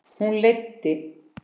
Hún leiddi